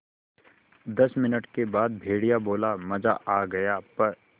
दस मिनट के बाद भेड़िया बोला मज़ा आ गया प्